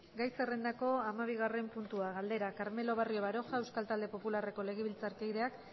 gai zerrendako hamabigarren puntua galdera carmelo barrio baroja euskal talde popularreko legebiltzarkideak